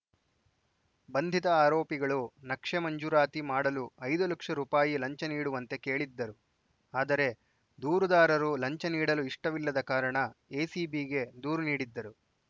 ಬಂಧಿತ ಆರೋಪಿಗಳು ನಕ್ಷೆ ಮಂಜೂರಾತಿ ಮಾಡಲು ಐದು ಲಕ್ಷ ರೂಪಾಯಿ ಲಂಚ ನೀಡುವಂತೆ ಕೇಳಿದ್ದರು ಆದರೆ ದೂರುದಾರರು ಲಂಚ ನೀಡಲು ಇಷ್ಟವಿಲ್ಲದ ಕಾರಣ ಎಸಿಬಿಗೆ ದೂರು ನೀಡಿದ್ದರು